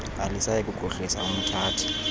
alisayi kukhohlisa umthathi